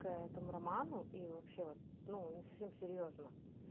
к этому роману и вообще вот ну не совсем серьёзно